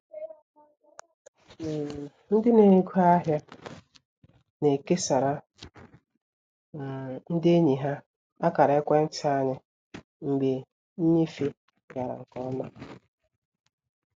um Ndị n'ego ahịa na-ekesara um ndị enyi ha akara ekwenti anyị mgbe nnyefe gara nke ọma